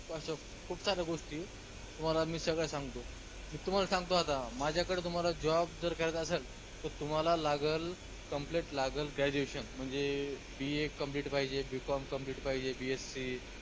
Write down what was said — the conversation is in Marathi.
अश्या खूप साऱ्या गोष्टी तुम्हाला मी सगळ्या सांगतो मी तुम्हाल सांगतो आता माझ्याकडं तुम्हाला job जर करायचा असलं त तुम्हाला लागलं complete लागलं graduation म्हनजे BAcomplete पाहिजे BCOMcomplete पाहिजे BSC